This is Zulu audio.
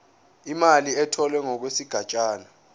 imali etholwe ngokwesigatshana